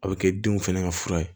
A bɛ kɛ denw fɛnɛ ka fura ye